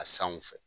A sanw fɛ